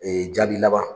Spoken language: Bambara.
Ee jaabi laban